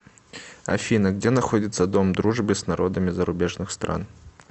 афина где находится дом дружбы с народами зарубежных стран